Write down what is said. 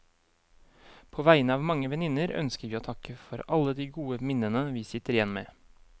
På vegne av mange venninner ønsker vi å takke for alle de gode minnene vi sitter igjen med.